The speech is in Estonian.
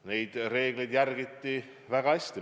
Neid reegleid järgiti väga hästi.